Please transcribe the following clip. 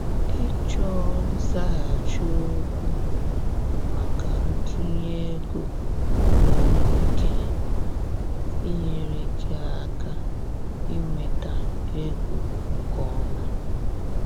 ịchọ nzaghachi okwu maka ntunye ego nwere ike inyere gị aka inweta ego nke ọma.